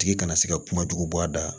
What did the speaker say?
Tigi kana se ka kuma jugu bɔ a da